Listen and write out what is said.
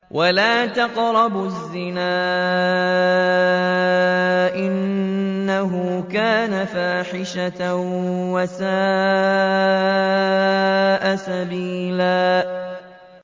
وَلَا تَقْرَبُوا الزِّنَا ۖ إِنَّهُ كَانَ فَاحِشَةً وَسَاءَ سَبِيلًا